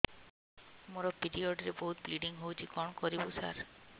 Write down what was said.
ମୋର ପିରିଅଡ଼ ରେ ବହୁତ ବ୍ଲିଡ଼ିଙ୍ଗ ହଉଚି କଣ କରିବୁ ସାର